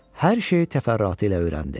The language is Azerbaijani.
Hər şeyi təfərrüatı ilə öyrəndi.